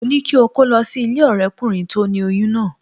Mo ní kí o kó lọ sí ilé ọ̀rẹ́kùnrin tó ni oyún náà